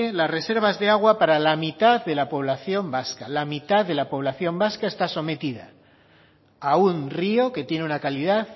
la reservas de agua para la mitad de la población vasca la mitad de la población vasca está sometida a un río que tiene una calidad